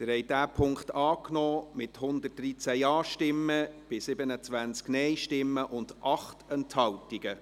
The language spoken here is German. Sie haben den Punkt 3 angenommen, mit 113 Ja- gegen 27 Nein-Stimmen bei 8 Enthaltungen.